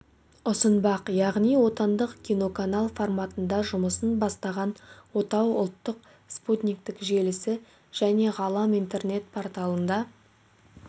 ұсынбақ яғни отандық киноканал форматында жұмысын бастаған отау ұлттық спутниктік желісі және ғалам интернет порталында